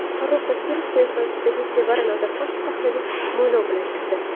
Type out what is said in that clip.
Farrux Zokirov qiyofasidagi Sevara Nazarxon sahnaga mo‘ylov bilan chiqdi.